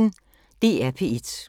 DR P1